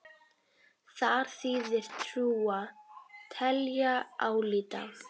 Þar þýðir trúa: telja, álíta.